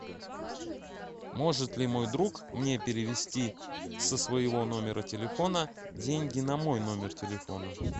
может ли мой друг мне перевести со своего номера телефона деньги на мой номер телефона